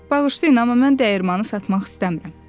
“Bağışlayın, amma mən dəyirmanı satmaq istəmirəm.”